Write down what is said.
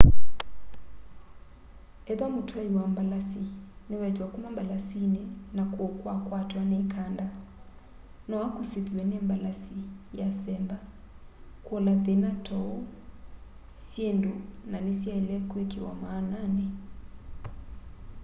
etha mũtwaĩ wa mbalasĩ nĩ wekywa kũma mbalasĩnĩ na kũũ kwakwatwa nĩ ĩkanda no akũsĩthwe nĩ mbalasĩ yasemba.kũola thĩna ta ũũ syĩndũ na nĩsyaĩle kwĩkĩwa maananĩ